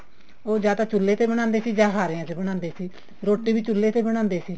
ਉਹ ਜਾ ਤਾਂ ਚੁੱਲੇ ਤੇ ਬਣਾਉਂਦੇ ਜਾਂ ਤਾਂ ਹਾਰੇ ਆਂ ਚ ਬਣਾਉਂਦੇ ਸੀ ਰੋਟੀ ਵੀ ਚੁੱਲੇ ਤੇ ਬਣਾਉਂਦੇ ਸੀ